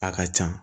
A ka can